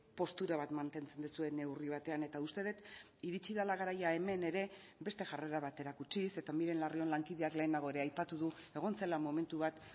postura bat mantentzen duzue neurri batean eta uste dut iritsi dela garaia hemen ere beste jarrera bat erakutsiz eta miren larrion lankideak lehenago ere aipatu du egon zela momentu bat